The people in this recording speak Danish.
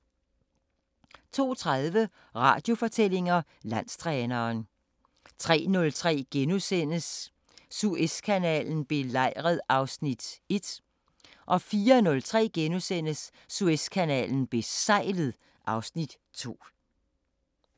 02:30: Radiofortællinger: Landstræneren 03:03: Suezkanalen belejret (Afs. 1)* 04:03: Suezkanalen besejlet (Afs. 2)*